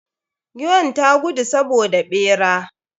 Giwn ta gudu saboda ɓera.